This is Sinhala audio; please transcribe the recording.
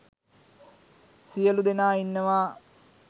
සියළු දෙනා ඉන්නවා.